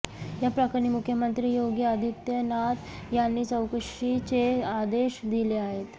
या प्रकरणी मुख्यमंत्री योगी आदित्यनाथ यांनी चौकशीचे आदेश दिले आहेत